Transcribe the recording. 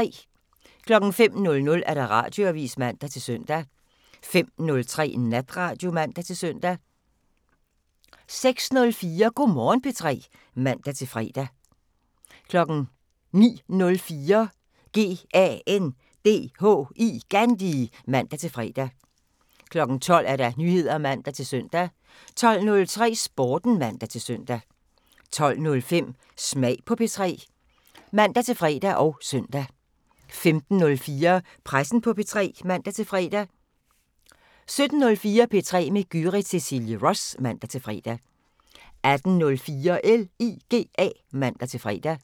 05:00: Radioavisen (man-søn) 05:03: Natradio (man-søn) 06:04: Go' Morgen P3 (man-fre) 09:04: GANDHI (man-fre) 12:00: Nyheder (man-søn) 12:03: Sporten (man-søn) 12:05: Smag på P3 (man-fre og søn) 15:04: Pressen på P3 (man-fre) 17:04: P3 med Gyrith Cecilie Ross (man-fre) 18:04: LIGA (man-fre)